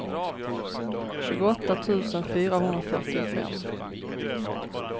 tjugoåtta tusen fyrahundrafyrtiofem